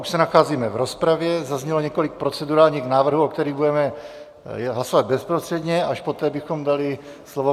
Už se nacházíme v rozpravě, zaznělo několik procedurálních návrhů, o kterých budeme hlasovat bezprostředně, až poté bychom dali slovo.